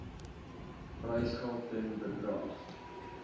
prysgeld ten bedrae